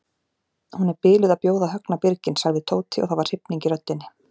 Hún er biluð að bjóða Högna birginn sagði Tóti og það var hrifning í röddinni.